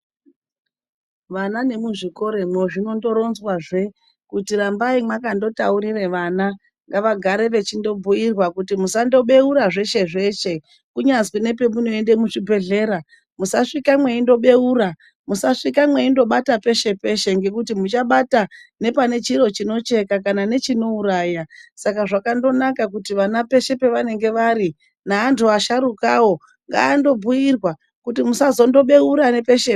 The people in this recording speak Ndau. Vana nemuzvikoromwo zvinondoronzwa zve kuti rambayi makandotaurira vana, ngavagare vechindobhiyirwa kuti musandobewura zveshe-zveshe. Kunyazwi nepamunoenda kuzvibhedhlera musasvike mwendobeura, musasvike mweyindo bata peshe-peshe ngekuti muchabata nepane chiro chinocheka kana nechinouraya Saka zvakandonaka kuti vana peshe pavanenge vari neantu vasharukawo ngavandobhuyirwa kuti musazondobeura nepeshe-peshe.